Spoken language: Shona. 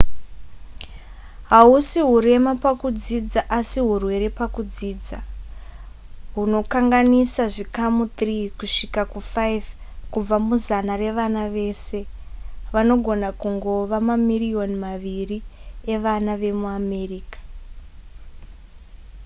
hausi hurema pakudzidza asi hurwere pakudzidza hunokanganisa zvikamu 3 kusvika ku5 kubva muzana revana vese vanogona kungova mamirioni maviri evana vemuamerica